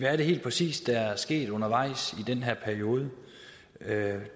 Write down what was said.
er det helt præcis der er sket undervejs i den her periode